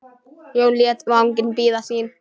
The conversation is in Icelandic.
Jón lét vagninn bíða sín.